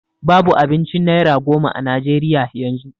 Babu abincin naira goma a najeriya yanzu